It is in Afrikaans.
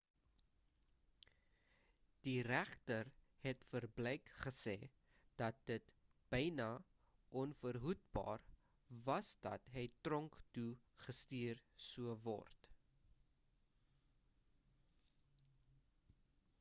die regter het vir blake gesê dat dit byna onverhoedbaar was dat hy tronk toe gestuur sou word